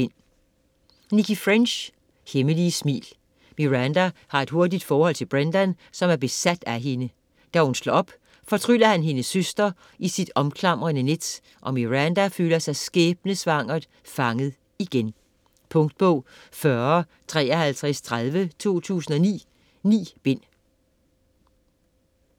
French, Nicci: Hemmelige smil Miranda har et hurtigt forhold til Brendan, som er besat af hende. Da hun slår op, fortryller han hendes søster i sit omklamrende net, og Miranda føler sig skæbnesvangert fanget igen. Punktbog 405330 2009. 9 bind.